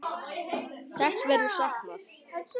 Þess verður saknað.